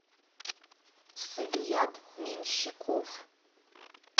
сабият меньщиков